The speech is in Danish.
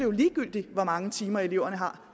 er ligegyldigt hvor mange timer eleverne har